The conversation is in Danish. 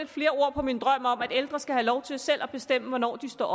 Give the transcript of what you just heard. flere ord på min drøm om at ældre skal have lov til selv at bestemme hvornår de står